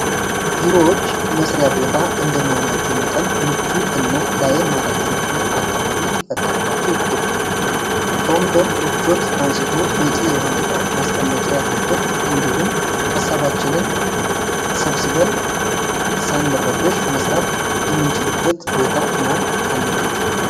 ቢሮዎች መስሪያ ቦታ እንደመሆናቸው መጠን ምቹ እና ለአይን ማራኪ የሆነ አካባቢ ሊፈጠርላቸው ይገብል። ከወንበር ምቾት አንስቶ፣ በቂ የሆነ እቃ ማስቀመጫ ያለበት እንዲሁም ሃሳባችንን ሰብስበን ሳንረበሽ መስራት የምንችልበት ቦታ መሆን አለበጥ